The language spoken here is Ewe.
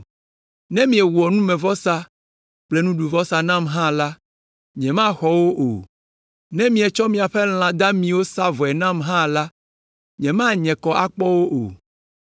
Ne miewɔ numevɔsa kple nuɖuvɔsawo nam hã la, nyemaxɔ wo o. Ne mietsɔ miaƒe lã damiwo sa vɔe nam hã la, nyemanye kɔ akpɔ wo o.